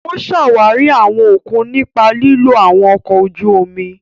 O ṣawari awọn okun nipa lilo awọn ọkọ ojú omi.